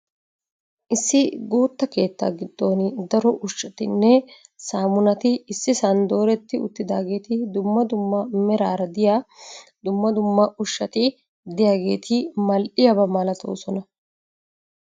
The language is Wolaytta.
Issi guutta keettaa giddooni daro ushshatinne saamunati issisan dooretti uttidaageeti dumma dumma meraara diya dumma dumma ushshati diyageeti mal'iyaaba malatoosona.